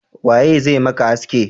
Waye zai maka haski?